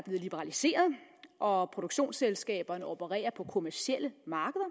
liberaliseret og produktionsselskaberne opererer på kommercielle markeder